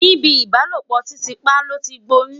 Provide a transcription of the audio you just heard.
ní ibì ìbálòpọ̀ titi pa loti gboyun